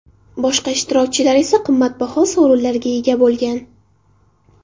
Boshqa ishtirokchilar esa qimmatbaho sovrinlarga ega bo‘lgan.